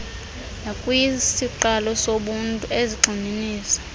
nakwisiqalo sobuntu ezigxininisa